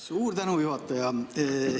Suur tänu, juhataja!